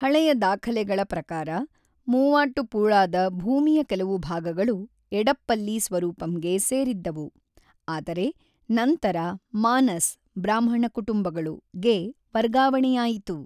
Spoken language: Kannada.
ಹಳೆಯ ದಾಖಲೆಗಳ ಪ್ರಕಾರ, ಮೂವಾಟ್ಟುಪುಳಾದ ಭೂಮಿಯ ಕೆಲವು ಭಾಗಗಳು ಎಡಪ್ಪಲ್ಲಿ ಸ್ವರೂಪಂಗೆ ಸೇರಿದ್ದವು, ಆದರೆ ನಂತರ ಮಾನಸ್ (ಬ್ರಾಹ್ಮಣ ಕುಟುಂಬಗಳು) ಗೆ ವರ್ಗಾವಣೆಯಾಯಿತು.